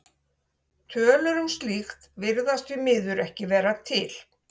Tölur um slíkt virðast því miður ekki vera til.